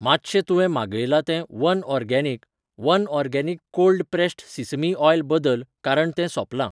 मातशें तुवें मागयलां तें one organic, one organic cold pressed sesame oil बदल कारण तें सोपलां